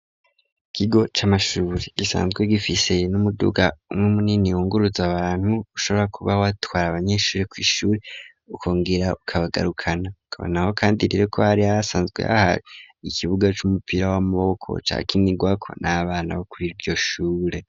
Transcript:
Ikigo c'amashure gisanzwe gifise n'umuduga mw'munini ungurutza abantu ushobora kuba watware abanyeshuri ku'ishuri ukongera ukabagarukana kabonaho kandi irere ko ari yaasanzwe haha ikibuga c'umupira w'amaboko ca kinigwako n'abana bo kuri iryo shure.